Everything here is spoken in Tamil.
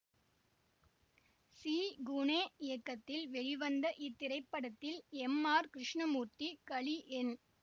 சி குனே இயக்கத்தில் வெளிவந்த இத்திரைப்படத்தில் எம் ஆர் கிருஷ்ணமூர்த்தி கலி என்